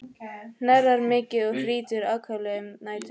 Hnerrar mikið og hrýtur ákaflega um nætur.